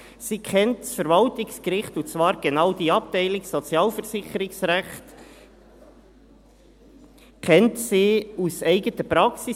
Sie kennt das Verwaltungsgericht, und zwar kennt sie genau die Abteilung Sozialversicherungsrecht aus eigener Praxis.